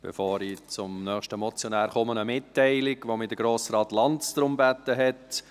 Bevor ich zum nächsten Motionär komme, eine Mitteilung, um die mich Grossrat Lanz gebeten hat: